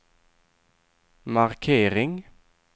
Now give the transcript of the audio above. markering